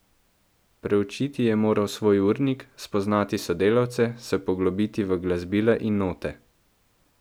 Preučiti je moral svoj urnik, spoznati sodelavce, se poglobiti v glasbila in note.